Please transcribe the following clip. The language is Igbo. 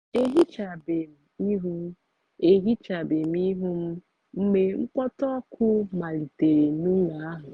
ehichabem ihu ehichabem ihu m mgbe mkpọtụ ọkụ malitere n'ụlọ ahụ